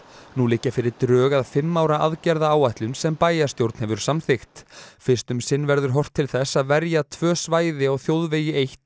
nú liggja fyrir drög að fimm ára aðgerðaáætlun sem bæjarstjórn hefur samþykkt fyrst um sinn verður horft til þess að verja tvö svæði á þjóðvegi eitt